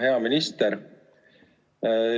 Hea minister!